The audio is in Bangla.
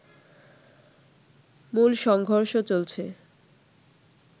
মূল সংঘর্ষ চলছে